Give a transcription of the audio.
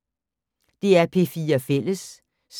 DR P4 Fælles